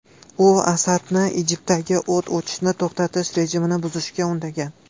U Asadni Idlibdagi o‘t ochishni to‘xtatish rejimini buzishga undagan.